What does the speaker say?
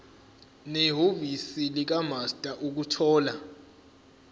nehhovisi likamaster ukuthola